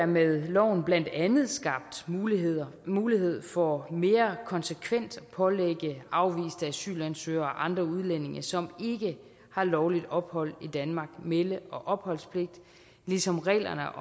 med loven blandt andet skabt mulighed mulighed for mere konsekvent at pålægge afviste asylansøgere og andre udlændinge som ikke har lovligt ophold i danmark melde og opholdspligt ligesom reglerne